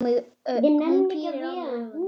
Hún pírir á mig augun.